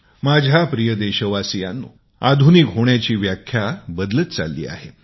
माझ्या प्रिय देशवासियांनो आधुनिक होण्याची व्याख्या बदलत चालली आहे